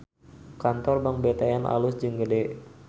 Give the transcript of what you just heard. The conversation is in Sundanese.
Kantor Bank BTN alus jeung gede